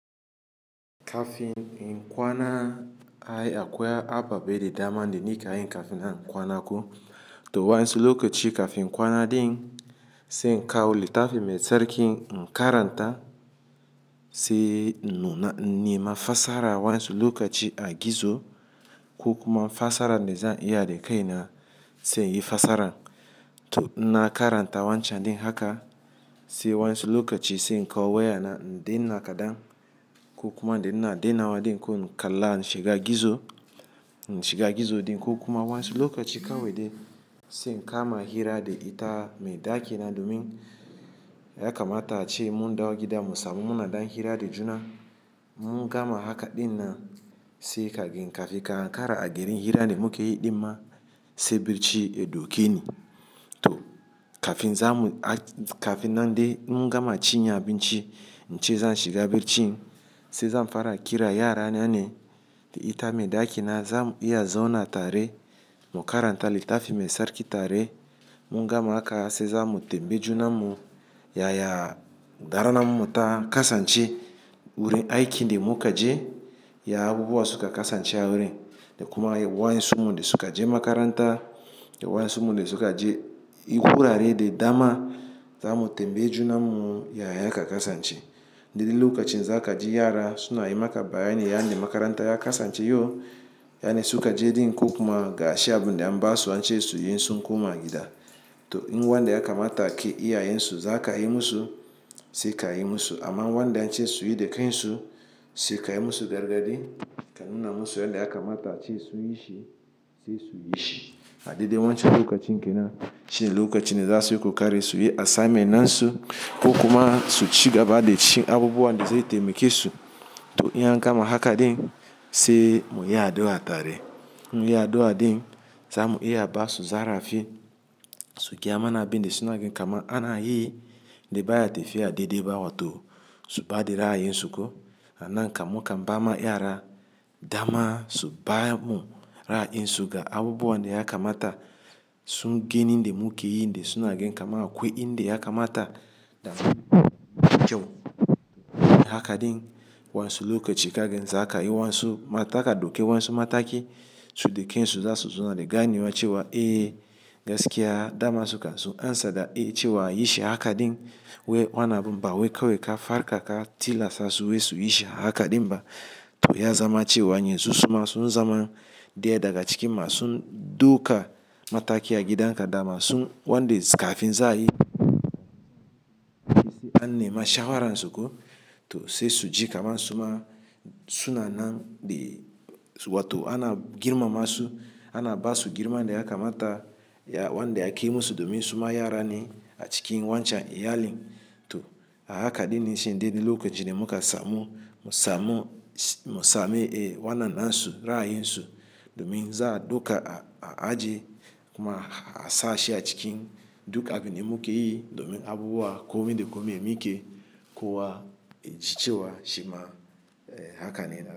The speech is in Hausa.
Kafin in kwana ai akwai ababai da dama da ni kan yin kafin in kwana ko. To wansu lokaci kafin kwana din sai in kawo littafi mai tsarki in karanta sai nima fasara wansu lokaci a gizo ko kuma fasara da zan iya da kai na sai in yi fasara. To in na karanta wancan din haka sai wansu lokaci sai in kawo waya na din nakadan ko kuma da ina daina wa din ko in kalla na shiga gizo, na shiga gizo din ko kuma wansu lokaci kawai dai sai in kama hira da ita mai daki na domin yakamata ce mun dawo gida mu samu muna dan hira da juna. Mun gama haka din nan sai kagin kafin ka hankara a garin hira da muke yi din ma sai bacci ya dauke ni. To kafin zamu, kafin nan dai mun gama cin abinci, nce zan shiga bacci sai zan fara a kira yara na ne da ita mai daki na zamu iya zauna tare mu karanta littafi mai tsarki tare. Mun gama haka sai zamu tembe junan mu yaya darana mu ta kasance wurin aiki da muka je ya abubuwa suka kasance a wurin. Da kuma wansu mun dai suka je makaranta da wansu mun dai suka je wurare da dama zamu tambaye junan mu yaya haka kasance. Da dilli lokacin za ka ji yara suna yi maka bayani yanda makaranta ya kasance yo, yanda suka je din ko kuma ga ashe abunda mbasu wance su yi sun kuma gida. To in wanda yakamata ke iyayen su za ka yi masu sai ka yi masu amma wanda an ce su yi da kai su sai ka yi masu gargadii kan nuna masu yanda yakamata ce su yi shi sai su yi shi. A daidai wancan lokacin kenan shine lokacin da za su yi ku kare su yi assignment na su ko kuma su shiga bada shi abubuwa nda su yi taimaki su. To in an gama haka din sai mu yi addu'a tare. Mun yi addu'a din zamu iya a basu zarafi suke amana bin da su gaya kama ana yi da baya tafiya daidai ba wato su bada ra'ayin suku ko. Ana in kamukan bama yara dama su ba mu ra'ayin su ga abubuwa da yakamata sun gani da muke yi da sunagen kama akwai in da yakamata da mu haka din wansu lokaci kagin za ka yi wansu mataki da doka wansu mataki su da kai su za su zo na da gani wace wa, "Eh gaskiya dama suka zo." An sada i ce wa yi shi haka din wai wanan abun ba wai kawai ka farka ka tilasta su wai su yi shi haka din ba. To ya zama cewa yanzu suma sun zama dai daga cikin ma sun dauka mataki a gidan ka dama sun wanda su kafin za ayi an nema shawaran su ko. To sai su ji kaman suma suna nan da su wato ana girmama su, ana basu girma nda yakamata ya wanda yake musu domin suma yara ne a cikin wancan iyalin. To a haka din nishin dai dilli lokacin da muka samu musamu musame e wanna na su rai yin su domin za a duka a aji kuma a sa ashe a cikin duk abin da muke yi domin abubuwa komin da komi emu ke kowa in ci cewa shima e haka ne na gani.